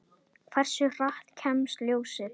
Hversu hratt kemst ljósið?